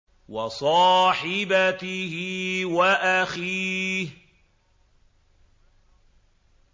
وَصَاحِبَتِهِ وَأَخِيهِ